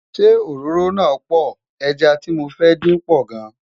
ṣé òróró na poor, ejá tí mọ fẹ dín pò gan